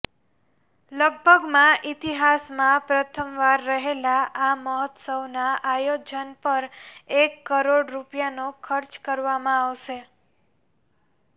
લગભગમાં ઈતિહાસમાં પ્રથમવાર રહેલા આ મહોત્સવનાં આયોજન પર એક કરોડ રૂપિયાનો ખર્ચ કરવામાં આવશે